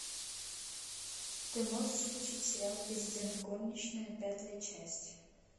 ты можешь включить сериал президент горничная пятая часть